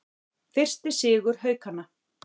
Fyrsti sigur Haukanna